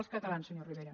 els catalans senyor rivera